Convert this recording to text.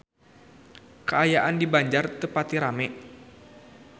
Kaayaan di Banjar teu pati rame